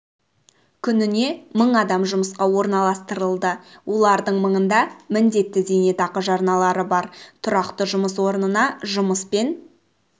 күніне мың адам жұмысқа орналастырылды олардың мыңында міндетті зейнетақы жарналары бар тұрақты жұмыс орнына жұмыспен